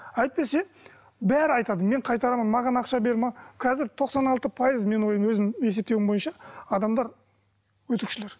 әйтпесе бәрі айтады мен қайтарамын маған ақша бер қазір тоқсан алты пайыз менің өзім есептеуім бойынша адамдар өтірікшілер